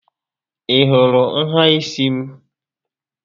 Ị hụrụ nhà ísí m?